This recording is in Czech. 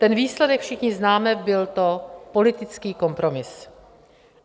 Ten výsledek všichni známe, byl to politický kompromis.